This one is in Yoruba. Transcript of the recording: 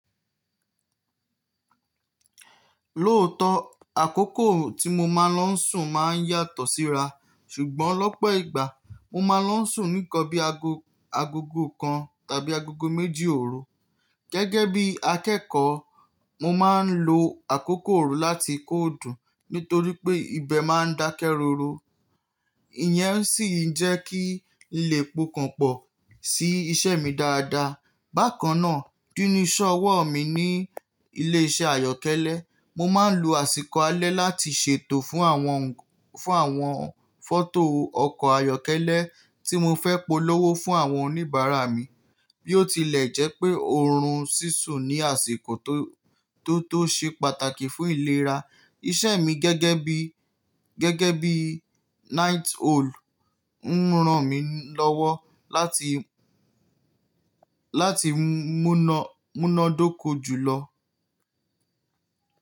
Lóòótọ́, àkókò tí mo máa ń lọ sùn máa ń yàtọ̀ síra, ṣùgbọ́n lọ́pọ̀ ìgbà mo máa ń lọ sùn níkan bí i agogo kan tàbí agogo méjì òru. Gẹ́gẹ́ bí akẹ́kọ̀ọ́, mo máa ń lo àkókò òru láti kóòdù nítorí pé ibẹ̀ máa ń dákẹ́ roro. Ìyẹ́n sì ń jẹ́ kí n lè pọkanpọ̀ sí iṣẹ́ mi dáadáa. Bákan náà, kíní iṣẹ́ ọwọ́ mi ní ilé iṣẹ́ ayọ́kẹ́lẹ́, mo máa ń lo àsìkò alẹ́ láti ṣètò fún àwọn, fún àwọn fọ́tò ọkọ̀ ayọ́kẹ́lẹ́ tí mo fẹ́ polówó fún àwọn oníbàárà mi. Bí ó tilẹ̀ jẹ́ pé órún sísun ni àsìkò tó, tó ṣe pàtàkì fún ìlera. Iṣẹ́ mi gẹ́gẹ́ bí, gẹ́gẹ́ bí night owl ń ran mi lọ́wọ́ láti, láti múná, múná dóko jùlọ.